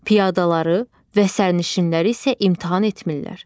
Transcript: Piyadaları və sərnişinləri isə imtahan etmirlər.